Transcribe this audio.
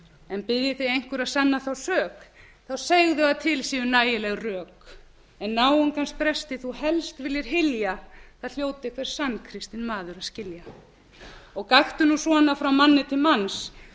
en biðji þig einhver að sanna þá sök þá segðu að til séu nægileg rök en náungans bresti þú helst viljir hylja það hljóti hver sannkristinn maður að skilja og gakktu nú svona frá manni til manns